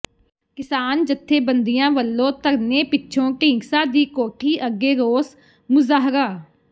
ਕਿਸਾਨ ਜਥੇਬੰਦੀਆਂ ਵੱਲੋਂ ਧਰਨੇ ਪਿੱਛੋਂ ਢੀਂਡਸਾ ਦੀ ਕੋਠੀ ਅੱਗੇ ਰੋਸ ਮੁਜ਼ਾਹਰਾ